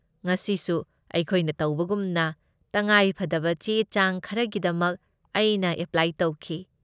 ꯉꯁꯤꯁꯨ ꯑꯩꯈꯣꯏꯅ ꯇꯧꯕꯒꯨꯝꯅ ꯇꯉꯥꯏꯐꯗꯕ ꯆꯦ ꯆꯥꯡ ꯈꯔꯒꯤꯗꯃꯛ ꯑꯩꯅ ꯑꯦꯄ꯭ꯂꯥꯏ ꯇꯧꯈꯤ꯫